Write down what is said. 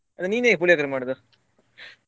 ನೀನ್ ಹೇಗ್ ಪುಳಿಯೋಗರೆ ಮಾಡುದು?